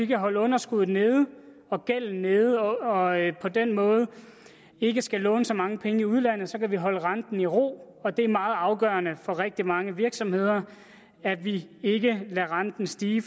kan holde underskuddet og gælden nede og på den måde ikke skal låne så mange penge i udlandet så kan vi holde renten i ro det er meget afgørende for rigtig mange virksomheder at vi ikke lader renten stige